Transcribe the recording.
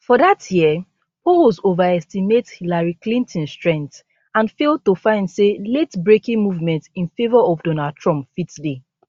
for dat year polls overestimate hillary clinton strength and fail to find say latebreaking movement in favour of donald trump fit dey